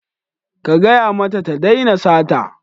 Ka gaya mata ta daina sata.